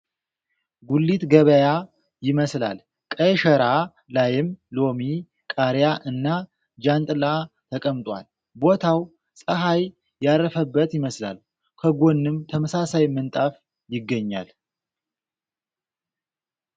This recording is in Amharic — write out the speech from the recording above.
ጉሊት ገበያ ይመስላል ቀይ ሽራ ላይም ሎሚ ፣ ቃሪያ እና ጃን ጥላ ተቀምጧል ቦታው ፀሐይ ያረፈበት ይመስላል ። ከጎንም ተመሳሳይ ምንጣፍ ይገኛል ።